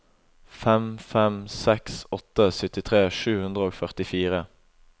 fem fem seks åtte syttitre sju hundre og førtifire